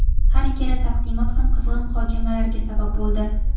Har ikkala taqdimot ham qizg‘in muhokamalarga sabab bo‘ldi.